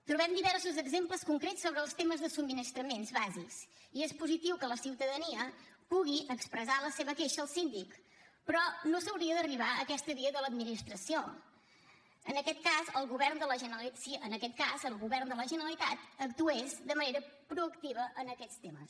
trobem diversos exemples concrets sobre els temes de subministraments bàsics i és positiu que la ciutadania pugui expressar la seva queixa al síndic però no s’hauria d’arribar a aquesta via de l’administració si en aquest cas el govern de la generalitat actués de manera proactiva en aquests temes